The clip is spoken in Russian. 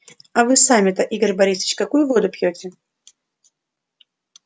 а вы сами-то игорь борисович какую воду пьёте